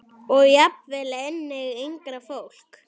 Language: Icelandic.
Og jafnvel einnig yngra fólki.